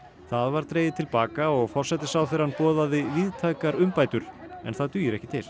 það var dregið til baka og forsætisráðherrann boðaði víðtækar umbætur en það dugir ekki til